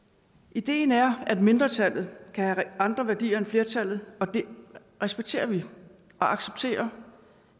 ideen er at mindretallet kan have andre værdier end flertallet og det respekterer vi og accepterer